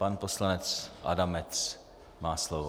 Pan poslanec Adamec má slovo.